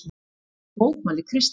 Þessu mótmælir Kristín.